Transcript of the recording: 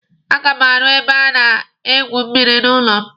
A ga m arụ ebe a na-egwu mmịrị n'ụlọ m.